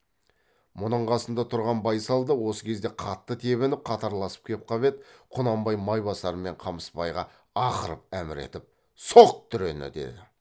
мұның қасында тұрған байсал да осы кезде қатты тебініп қатарласып кеп қап еді құнанбай майбасар мен қамысбайға ақырып әмір етіп соқ дүрені деді